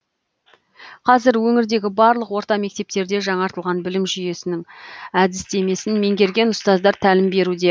қазір өңірдегі барлық орта мектептерде жаңартылған білім жүйесінің әдістемесін меңгерген ұзтаздар тәлім беруде